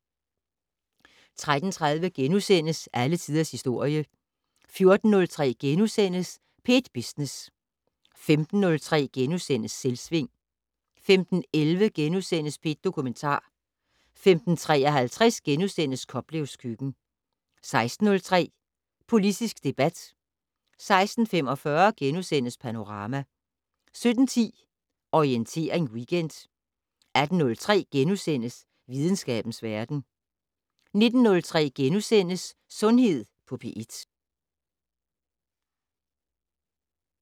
13:30: Alle tiders historie * 14:03: P1 Business * 15:03: Selvsving * 15:11: P1 Dokumentar * 15:53: Koplevs køkken * 16:03: Politisk debat 16:45: Panorama * 17:10: Orientering Weekend 18:03: Videnskabens verden * 19:03: Sundhed på P1 *